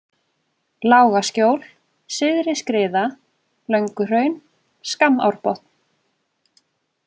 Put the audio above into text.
Lágaskjól, Syðri-Skriða, Lönguhraun, Skammárbotn